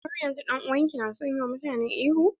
Har yanzun dan'uwan ki na son yi wa mutane ihu?